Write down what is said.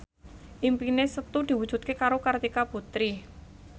impine Setu diwujudke karo Kartika Putri